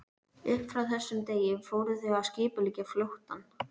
Upp frá þessum degi fóru þau að skipuleggja flóttann.